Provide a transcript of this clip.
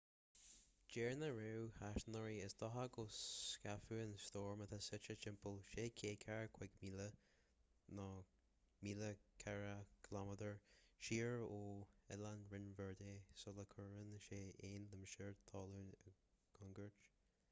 deir na réamhaisnéiseoirí is dócha go scaipfidh an stoirm atá suite timpeall 645 míle 1040 km siar ó oileáin rinn verde sula gcuireann sé aon limistéar talún i gcontúirt